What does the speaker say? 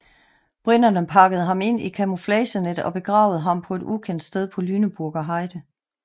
Briterne pakkede ham ind i et camouflagenet og begravede ham på et ukendt sted på Lüneburger Heide